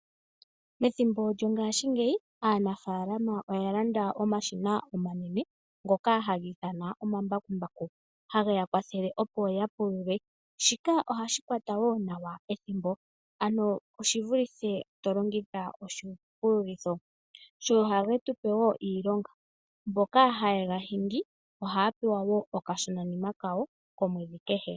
Methimbo lyongashingeyi , aanafaalama oya landa omashina omanene ngoka haga ithanwa omambakumbaku hage ya kwathele opo ya pulule. Shika ohashi kwata wo nawa ethimbo ano oshivulithe tolongitha oshipululitho, tse oha ge tupe wo iilonga, mboka haye ga hingi ohaya pewa wo okashonanima kawo omweedhi kehe.